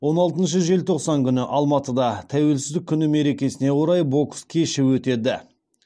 он алтыншы желтоқсан күні алматыда тәуелсіздік күні мерекесіне орай бокс кеші өтеді